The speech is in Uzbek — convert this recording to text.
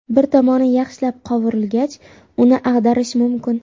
Bir tomoni yaxshilab qovurilgach, uni ag‘darish mumkin.